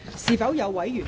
是否有委員想發言？